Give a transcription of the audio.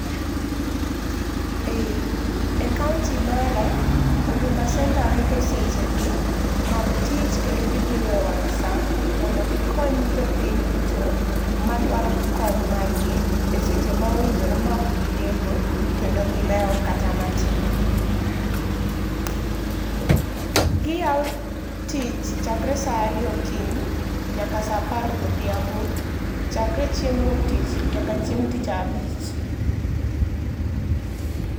E e kaunti mara huduma center rito sechegi mag tich kendo gibiro e wang' saa, mondo gikony jopiny duto madwaro kony mag gi eseche ma owinjore ma ok gideko kendo gilewo kata matin. Giyaw tich chakre saa ariyo okinyi nyaka saa apar odhiambo chakre chieng' wuok tich nyaka chieng' tich abich.